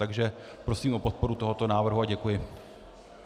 Takže prosím o podporu tohoto návrhu a děkuji.